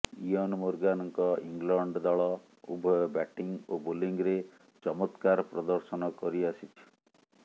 Eoin ମୋର୍ଗାନଙ୍କ England ଦଳ ଉଭୟ ବ୍ୟାଟିଂ ଓ ବୋଲିଂରେ ଚମତ୍କାର ପ୍ରଦର୍ଶନ କରିଆସିଛି